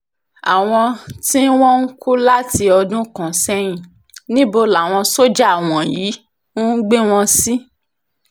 àwọn tí wọ́n ń kú láti ọdún kan sẹ́yìn níbo làwọn sójà wọ̀nyí ń gbé wọn sí